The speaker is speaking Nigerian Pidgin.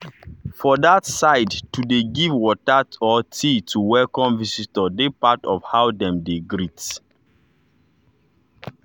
for that sideto dey give water or tea to welcome visitor dey part of how dem dey greet.